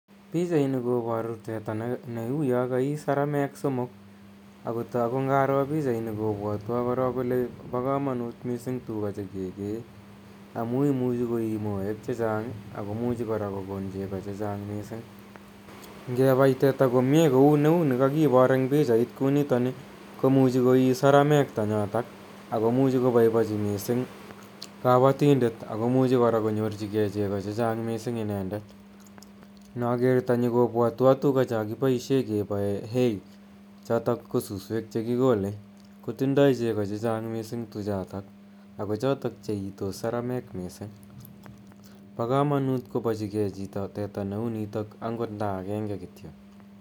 Pichaini koparu teta ne uni ka ii sarameek somok. ago tagu ngaro pichaini kopwatwa kole pa kamanuut missing' tuga che ke kee amu imuchi kokon chego che chang ako muchi koii moek che chang'. Nge pai teta komye kou ne u ni kakipor eng' pichait kou ntoni komuchi koi sarameek tanyatak ago muchi kopaipachi missing' kapatindet ako muchi kora konyor chi gei chego che chang' missing' inendet. Inaker tanyi kopwatwa tuga cha kipaishe kepae hay chotook ko susweek che kikolei, kotindoi chego che chang missing' tuchotok ako chot che iitos sarameek missing'. Pa kamanuut kopachi gei chito teta ne u nitok agot nda agenge kityo.